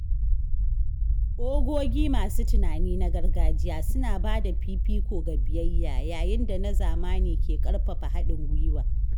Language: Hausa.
Ogogi masu tunani na gargajiya suna bada fifiko ga biyayya, yayin da na zamani ke ƙarfafa haɗin gwiwa.